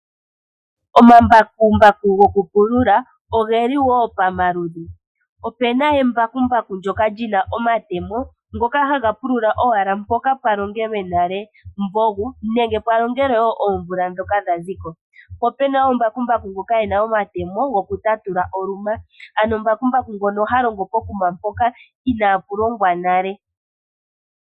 Omambakumbaku oge li wo pamaludhi. Opuna embakumbaku ndyoka lina omatemo ngoka haga pulula owala mpoka pwalongelwe nale omumvo gu, nenge pwalongelwe wo oomvula ndhoka yaziko. Po opuna mbakumbaku ngoka ena omatemo gokutatula oluma ano mbakumbaku ngono ha longo pokuma inaa pu longwa nale.